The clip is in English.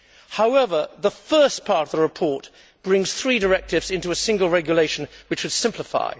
However, the first part of the report brings three directives into a single regulation which would simplify.